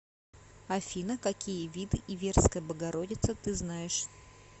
афина какие виды иверская богородица ты знаешь